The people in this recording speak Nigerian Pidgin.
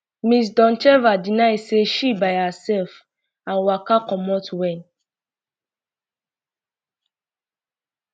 ms doncheva um deny say she by hersef and waka um comot wen